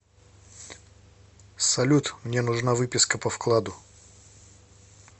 салют мне нужна выписка по вкладу